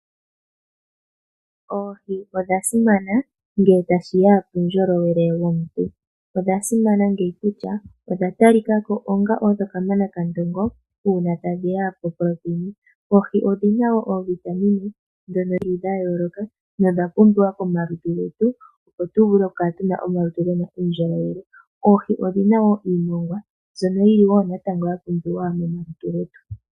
Oohi odhasimana, ngele tashiya puundjolowele womuntu. Odha simana ngaaka kutya odha talikako odho kamana kandongo, uuna tadhiya poproteina. Oohi odhina wo oovitamine dha yooloka na odhapumbiwa komalutu getu, opo tuvule okukala tuna omalutu gena uundjolowele. Oohi odhina wo iimongwa, mbyono yili wo natango ya pumbiwa momalutu getu.